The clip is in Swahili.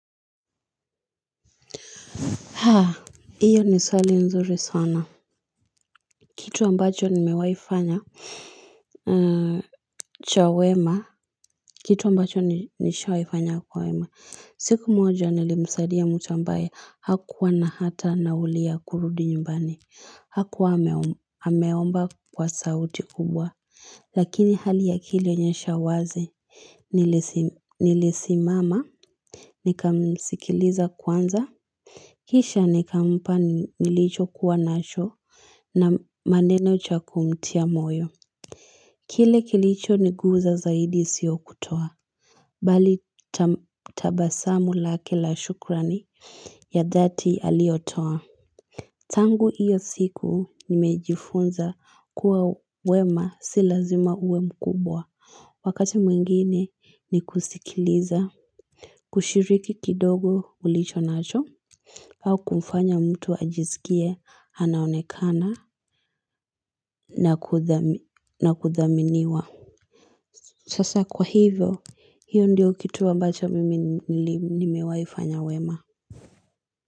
Haa, hilo ni swali nzuri sana. Kitu ambacho nimewaifanya cha wema. Kitu ambacho nishawahi kufanya kwa wema. Siku moja nilimsaidia mtu ambaye. Hakuwa na hata nauli ya kurudi nyumbani. Hakuwa hameomba kwa sauti kubwa. Lakini hali yake ilionyesha wazi. Nilisimama, nikamisikiliza kwanza, kisha nikampa nilichokuwa nacho na maneno cha kumtia moyo. Kile kilicho niguza zaidi siyo kutoa, bali tabasamu lake la shukrani ya dhati aliyotoa. Tangu hiyo siku nimejifunza kuwa wema si lazima uwe mkubwa. Wakati mwingine ni kusikiliza, kushiriki kidogo ulichonacho, au kumfanya mtu ajisikie, anaonekana, na kuthaminiwa. Sasa kwa hivyo, hiyo ndiyo kitu ambacho mimi nimewahifanya wema.